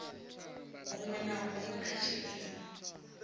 huṅwe na huṅwe kha tshiimo